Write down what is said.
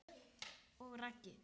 Og Raggi?